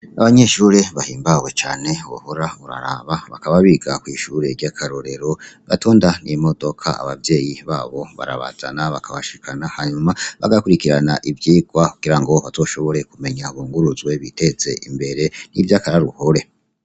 Abanyeshure bahimbawe cane wohora uraraba, bakaba biga kw'ishure ryakarorero batonda n'imodoka, abavyeyi babo barabazana bakabashikana, hanyuma bagakurikirana ivyigwa kugira ngo bazoshobore kumenya, bunguruzwe, biteze imbere bimwe vy'akaroruhore.